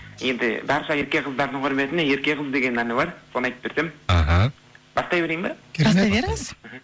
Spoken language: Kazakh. енді барша ерке қыздардың кұрметіне ерке қыз деген әні бар соны айтып берсем аха бастай берейін ба бастай беріңіз мхм